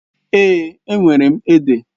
Èè, enwere m ede.